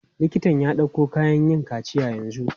Liktan ya ɗauko kayan yin kaciya yanzu.